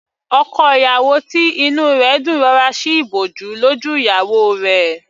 Ọkọ ìyàwó tí inú rẹ̀ dùn rọra sí ìbòjú lójú ìyàwó rẹ̀.